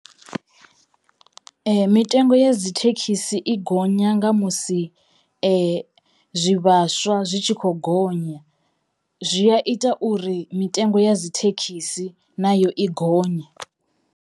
Mitengo ya dzi thekhisi i gonya nga musi zwivhaswa zwi tshi kho gonya zwi a ita uri mitengo ya dzi thekhisi na yo i gonye.